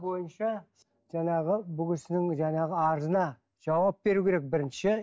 бойынша жаңағы бұл кісінің жаңағы арызына жауап беру керек бірінші